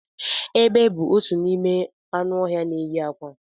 Egbe bu otu n'ime anụ ọhịa na enyi akwa